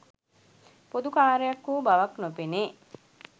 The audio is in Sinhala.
පොදු කාර්යයක් වූ බවක් නොපෙනේ.